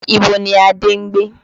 Ibo ni Adé ń gbé?